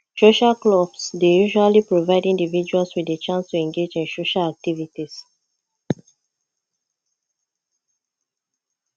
social clubs dey usually provide individuals di chance to engage in social activities